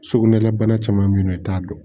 Sugunɛlabana caman bɛ yen nɔ i t'a dɔn